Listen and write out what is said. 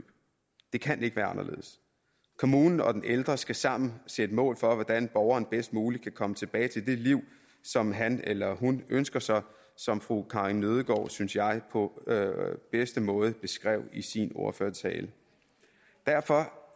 det kan ikke være anderledes kommunen og den ældre skal sammen sætte mål for hvordan borgeren bedst muligt kan komme tilbage til det liv som han eller hun ønsker sig som fru karin nødgaard synes jeg på bedste måde beskrev i sin ordførertale derfor